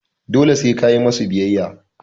dole se kayi musu biyayya